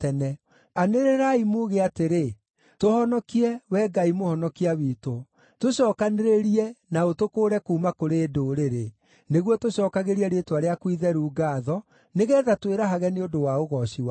Anĩrĩrai muuge atĩrĩ, “Tũhonokie, Wee Ngai Mũhonokia witũ; tũcookanĩrĩrie na ũtũkũũre kuuma kũrĩ ndũrĩrĩ, nĩguo tũcookagĩrie rĩĩtwa rĩaku itheru ngaatho, nĩgeetha twĩrahage nĩ ũndũ wa ũgooci waku.”